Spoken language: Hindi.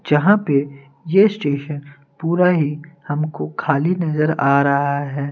यहां पे यह स्टेशन पूरा ही हमको खाली नजर आ रहा है।